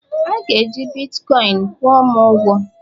A ga-eji Bitkọin kwụọ m ụgwọ!